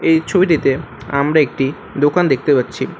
এই ছবিটিতে আমরা একটি দোকান দেখতে পাচ্ছি।